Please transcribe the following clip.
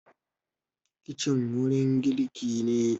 kicin wurin girki ne